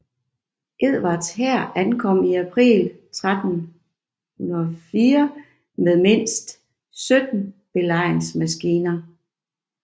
Edvards hær ankom i april 1304 med mindst 17 belejringsmaskiner